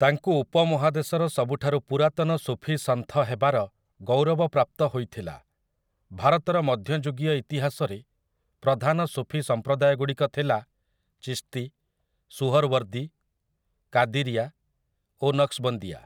ତାଙ୍କୁ ଉପମହାଦେଶର ସବୁଠାରୁ ପୁରାତନ ସୁଫୀ ସନ୍ଥ ହେବାର ଗୌରବ ପ୍ରାପ୍ତ ହୋଇଥିଲା । ଭାରତର ମଧ୍ୟଯୁଗୀୟ ଇତିହାସରେ ପ୍ରଧାନ ସୁଫୀ ସଂପ୍ରଦାୟଗୁଡ଼ିକଥିଲା ଚିସ୍ତୀ, ସୁହର୍‌ୱର୍ଦୀ, କାଦିରିଆ ଓ ନକ୍ସବଂଦିୟା ।